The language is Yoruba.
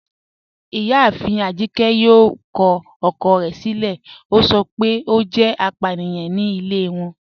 Ìyáàfín Ajíkẹ̀ yóò kọ ọ̀kọ̀ rẹ̀ silẹ̀, o sọ pé o jẹ́ àpàníyàn ní ilẹ̀ wọn